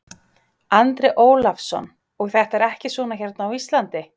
Andri Ólafsson: Og þetta er ekki svona hérna á Íslandi?